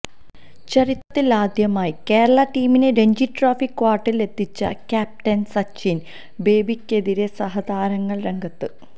ചരിത്രത്തിലാദ്യമായി കേരള ടീമിനെ രഞ്ജി ട്രോഫി ക്വാര്ട്ടറിലെത്തിച്ച ക്യാപ്റ്റന് സച്ചിന് ബേബിക്കെതിരെ സഹതാരങ്ങള് രംഗത്ത്